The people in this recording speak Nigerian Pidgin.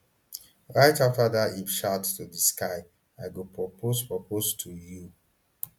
right afta dat im shout to di sky i go propose propose to you